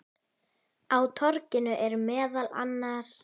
Á torginu eru meðal annars